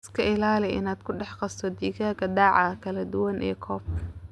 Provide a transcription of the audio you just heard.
Iska ilaali inaad ku dhex qasto digaagga da'aha kala duwan ee coop.